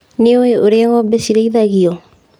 Nĩũĩ ũrĩa ngombe cirĩithagio.